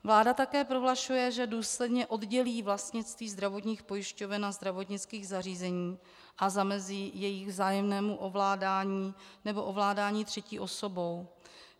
Vláda také prohlašuje, že důsledně oddělí vlastnictví zdravotních pojišťoven a zdravotnických zařízení a zamezí jejich vzájemnému ovládání nebo ovládání třetí osobou.